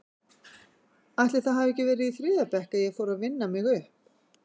Ætli það hafi ekki verið í þriðja bekk að ég fór að vinna mig upp?